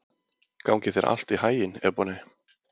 Gangi þér allt í haginn, Ebonney.